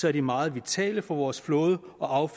er de meget vitale for vores flåde og